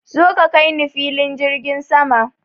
Zo ka kaini filin jirgin sama!